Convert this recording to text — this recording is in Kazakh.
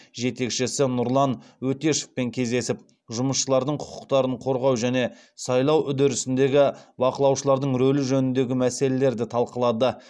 жетекшісі нұрлан өтешевпен кездесіп жұмысшылардың құқықтарын қорғау және сайлау үдерісіндегі бақылаушылардың рөлі жөніндегі мәселелерді талқылады